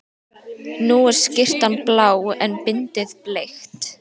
Nú er skyrtan blá en bindið bleikt.